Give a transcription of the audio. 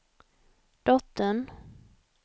dottern